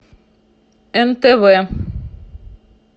нтв